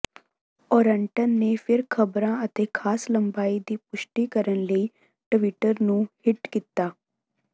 Orton ਨੇ ਫਿਰ ਖਬਰਾਂ ਅਤੇ ਖਾਸ ਲੰਬਾਈ ਦੀ ਪੁਸ਼ਟੀ ਕਰਨ ਲਈ ਟਵਿੱਟਰ ਨੂੰ ਹਿੱਟ ਕੀਤਾ